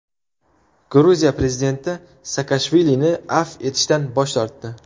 Gruziya prezidenti Saakashvilini afv etishdan bosh tortdi.